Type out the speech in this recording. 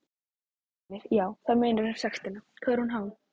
Heimir: Já, það munar um sektina, hvað er hún há?